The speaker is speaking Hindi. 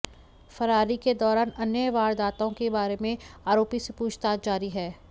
फरारी के दौरान अन्य वारदातों के बारे में आरोपी से पूछताछ जारी है